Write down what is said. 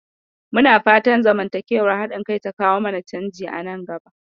Muna fatan zamantakewar haɗin-kai ta kawo mana canji nan gaba.